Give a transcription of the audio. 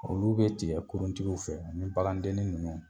Olu bɛ tigɛ kuruntigiw fɛ u ni bagandenni ninnu.